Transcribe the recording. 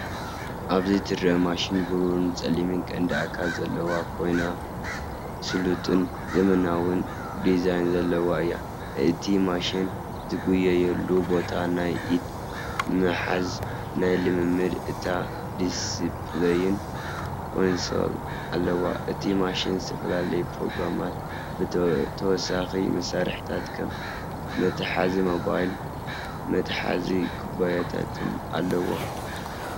ኣብዚ ትርአ ማሽን ብሩርን ጸሊምን ቀንዲ ኣካል ዘለዋ ኮይና፡ስሉጥን ዘመናውን ዲዛይን ዘለዋ እያ። እቲ ማሽን ዝጎየየሉ ቦታ፣ ናይ ኢድ ምሓዝን ናይ ልምምድ ዳታ ዲስፕለይን (ኮንሶል) ኣለዎ። እቲ ማሽን ዝተፈላለዩ ፕሮግራማት፣ ተወሳኺ መሳርሒታት ከም መትሓዚ ሞባይልን መትሓዚ ኩባያታትን ኣለዎ።